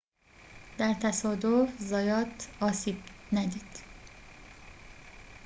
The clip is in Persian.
در تصادف زایات آسیب ندید